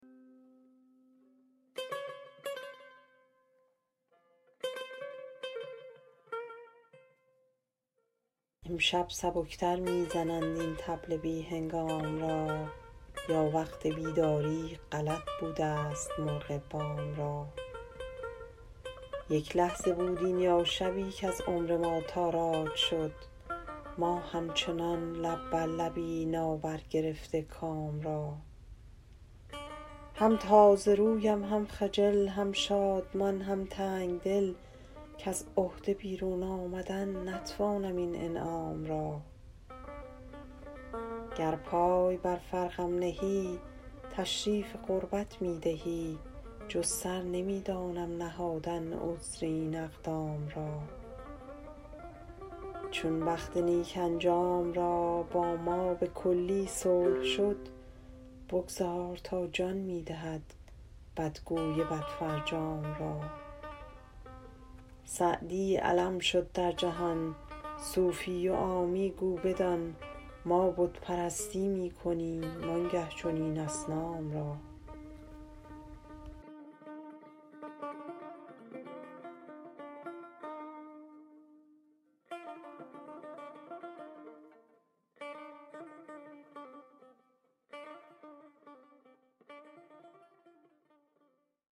امشب سبک تر می زنند این طبل بی هنگام را یا وقت بیداری غلط بودست مرغ بام را یک لحظه بود این یا شبی کز عمر ما تاراج شد ما همچنان لب بر لبی نابرگرفته کام را هم تازه رویم هم خجل هم شادمان هم تنگ دل کز عهده بیرون آمدن نتوانم این انعام را گر پای بر فرقم نهی تشریف قربت می دهی جز سر نمی دانم نهادن عذر این اقدام را چون بخت نیک انجام را با ما به کلی صلح شد بگذار تا جان می دهد بدگوی بدفرجام را سعدی علم شد در جهان صوفی و عامی گو بدان ما بت پرستی می کنیم آن گه چنین اصنام را